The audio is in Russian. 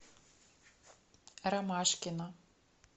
ромашкина